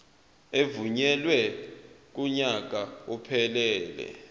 evunyelwe kunyaka ophelele